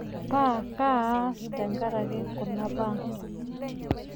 Paa kaa aas tenkaraki kuna baa?